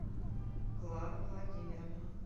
клару владимировну